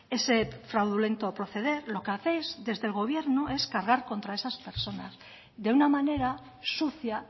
ese fraudulento proceder lo que hacéis desde el gobierno es cargar contra esas personas de una manera sucia